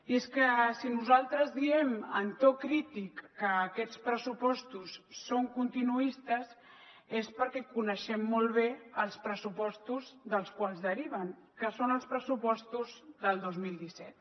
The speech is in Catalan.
i és que si nosaltres diem en to crític que aquests pressupostos són continuistes és perquè coneixem molt bé els pressupostos dels quals deriven que són els pressupostos del dos mil disset